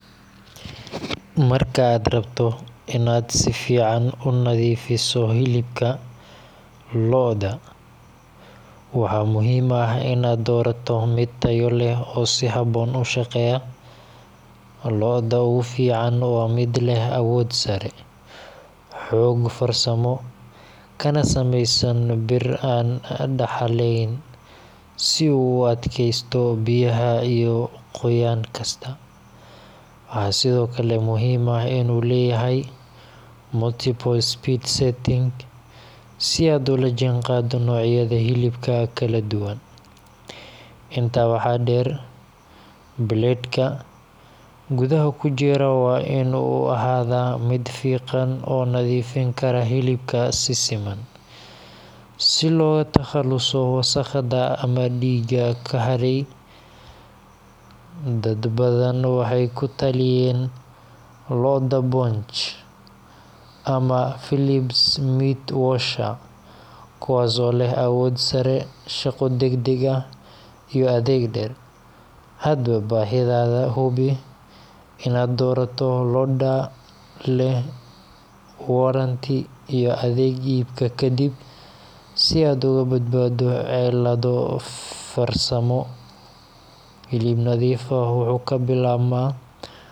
Marka aad rabto in aad si fiican u nadiifiso hilibka loda, waxa muhiim ah in aad doorato mid tayo leh oo si habboon u shaqeeya. Loda ugu fiican waa mid leh awood sare, xoog farsamo, kana samaysan bir aan daxalayn si uu u adkaysto biyaha iyo qoyaan kasta. Waxaa sidoo kale muhiim ah in uu leeyahay multiple speed settings, si aad ula jaanqaado noocyada hilibka kala duwan. Intaa waxaa dheer, blade-ka gudaha ku jira waa in uu ahaadaa mid fiiqan oo nadiifin kara hilibka si siman, si looga takhaluso wasakhda ama dhiigga ka hadhay. Dad badan waxay ku taliyeen Loda Bosch ama Philips meat washer, kuwaas oo leh awood sare, shaqo degdeg ah, iyo adeeg dheer. Hadba baahidaada, hubi in aad doorato loda leh warranty iyo adeeg iibka kadib si aad uga badbaado cilado farsamo. Hilib nadiif ah wuxuu ka bilaabmaa qalab wanaagsan dooro si xikmad leh.